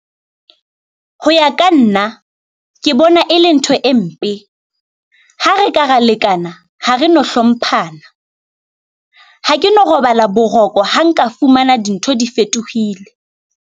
Ho ya ka nna, ke bona e le ntho e mpe. Ha re ka ra lekana ha re no hlomphana, ha ke no robala boroko ha nka fumana dintho di fetohile.